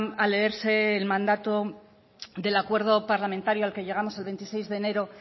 a leerse el mandato del acuerdo parlamentario al que llegamos el veintiséis de enero